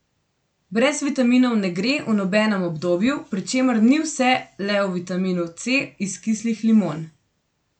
Brez vitaminov ne gre v nobenem obdobju, pri čemer ni vse le v vitaminu C iz kislih limon.